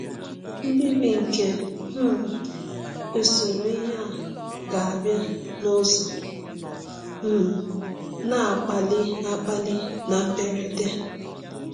Mbibi nke um usoro ihe a ga-abịa n’ụzọ um na-akpali akpali na mberede.